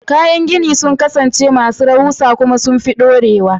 Kayan gini sun kasance masu rahusa kuma sun fi dorewa.